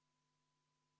Palun kohaloleku kontroll!